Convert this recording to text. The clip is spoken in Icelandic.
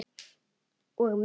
Og mig!